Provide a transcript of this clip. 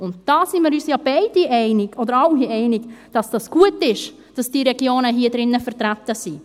Und darin sind wir uns ja alle einig, dass es gut ist, dass diese Regionen hier drin vertreten sind.